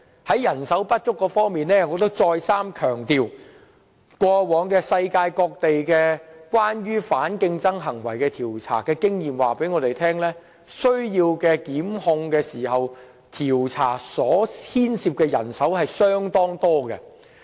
在人手短缺方面，我再三強調，過往世界各地調查反競爭行為的經驗告訴我們，就檢控而進行的調查工作涉及相當多的人手。